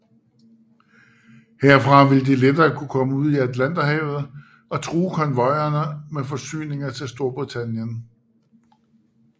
Herfra ville de lettere kunne komme ud i Atlanterhavet og true konvojerne med forsyninger til Storbritannien